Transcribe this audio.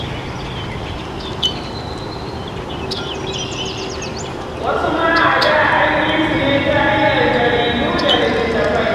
Wasu ma a da, an yi su ne ta hanyar jaridu da littattafai.